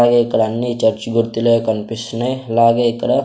అలాగే ఇక్కడ అన్నీ చర్చి గుర్తులే కనిపిస్తున్నాయి అలాగే ఇక్కడ.